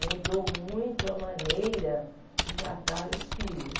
Mudou muito a maneira de tratar os filhos.